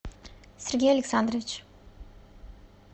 сергей александрович